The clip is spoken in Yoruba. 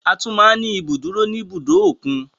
A tún máa ń ní ibi ìdúró ní ibùdó òkun.